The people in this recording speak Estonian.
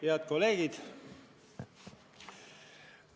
Head kolleegid!